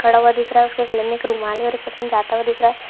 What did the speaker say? खड़ा हुआ दिख रहा है उसके गले में एक रुमाल है और एक पर्सन जाता हुआ दिख रहा है|